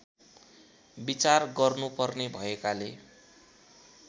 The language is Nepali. विचार गर्नुपर्ने भएकाले